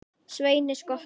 Sveini skotta.